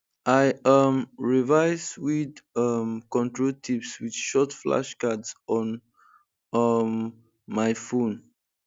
i um revise weed um control tips with short flashcards on um my phone